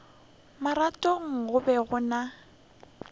marothong go be go na